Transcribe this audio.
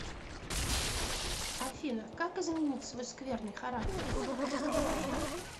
афина как изменить свой скверный характер